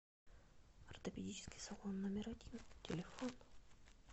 ортопедический салон номер один телефон